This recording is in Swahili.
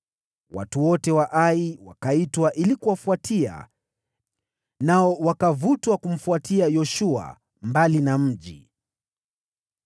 Watu wote wa Ai wakaitwa ili kuwafuatia, nao wakavutwa kumfuatia Yoshua mbali na mji.